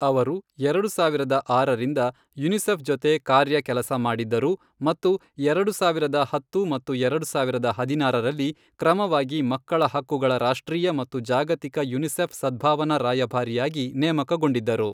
ಅವರು ಎರಡು ಸಾವಿರದ ಆರರಿಂದ ಯುನಿಸೆಫ್ ಜೊತೆ ಕಾರ್ಯ ಕೆಲಸ ಮಾಡಿದ್ದರು ಮತ್ತು ಎರಡು ಸಾವಿರದ ಹತ್ತು ಮತ್ತು ಎರಡು ಸಾವಿರದ ಹದಿನಾರರಲ್ಲಿ ಕ್ರಮವಾಗಿ ಮಕ್ಕಳ ಹಕ್ಕುಗಳ ರಾಷ್ಟ್ರೀಯ ಮತ್ತು ಜಾಗತಿಕ ಯುನಿಸೆಫ್ ಸದ್ಭಾವನಾ ರಾಯಭಾರಿಯಾಗಿ ನೇಮಕಗೊಂಡಿದ್ದರು.